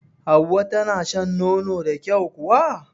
Hauwa tana shan nono da kyau kuwa?